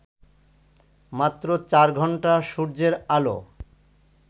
মাত্র চার ঘণ্টা সূর্যের আলো